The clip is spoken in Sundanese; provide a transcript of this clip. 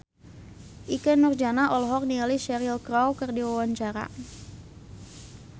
Ikke Nurjanah olohok ningali Cheryl Crow keur diwawancara